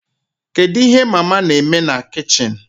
Kedu ihe mama na-eme na kichin?